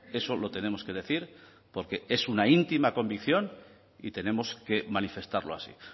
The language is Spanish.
eso lo tenemos que decir porque es una íntima convicción y tenemos que manifestarlo así